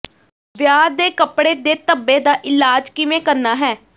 ਵਿਆਹ ਦੇ ਕੱਪੜੇ ਦੇ ਧੱਬੇ ਦਾ ਇਲਾਜ ਕਿਵੇਂ ਕਰਨਾ ਹੈ